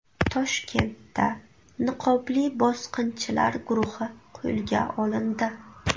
Toshkentda niqobli bosqinchilar guruhi qo‘lga olindi.